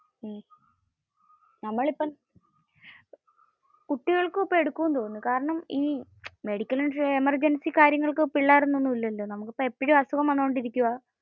കുട്ടികൾക്ക് ഇപ്പോ എടുക്കും എന്ന തോനുന്നു. കാരണം ഈ മെഡിക്കൽ എമർജൻസി കാര്യങ്ങൾക്കു പിള്ളേർ എന്ന ഒന്നുമില്ലല്ലോ.